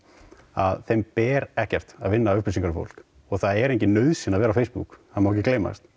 að þeim ber ekkert að vinna upplýsingar um fólk það er engin nauðsyn að vera á Facebook það má ekki gleymast